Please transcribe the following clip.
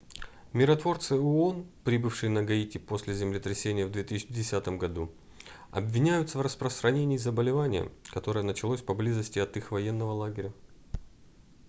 миротворцы оон прибывшие на гаити после землетрясения в 2010 году обвиняются в распространении заболевания которое началось поблизости от их военного лагеря